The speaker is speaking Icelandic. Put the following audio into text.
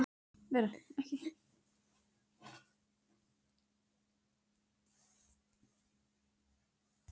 Ég sé norðurljós um þakglugga vísa þér leið í iðnum dansi.